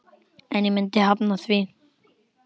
En ég myndi hafna því.